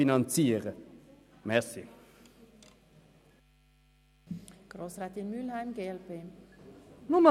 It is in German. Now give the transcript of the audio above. Eine kurze Bemerkung zum Votum von Grossrätin Schindler.